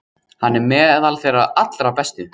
Hann er meðal þeirra allra bestu.